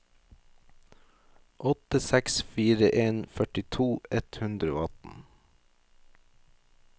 åtte seks fire en førtito ett hundre og atten